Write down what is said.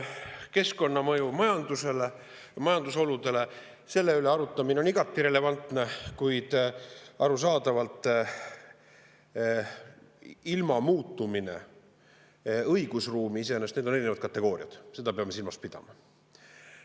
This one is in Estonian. Keskkonnamõju majandusele, majandusoludele – selle üle arutamine on igati relevantne, kuid arusaadavalt ilma muutumine õigusruumi iseenesest, need on erinevad kategooriad, seda peame silmas pidama.